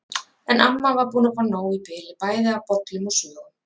En amma var búin að fá nóg í bili bæði af bollum og sögum.